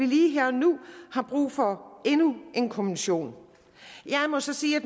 lige her og nu er brug for endnu en kommission jeg må så sige at